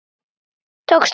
Tókst það.